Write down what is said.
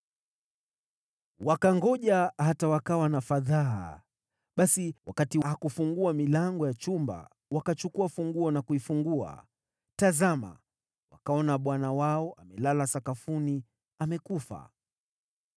Wakangoja hata wakawa na fadhaa, basi wakati hakufungua milango ya chumba, wakachukua funguo na kuifungua. Tazama wakaona bwana wao amelala sakafuni, amekufa.